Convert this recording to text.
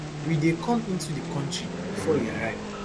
we dey come into di kontri bifor e arrive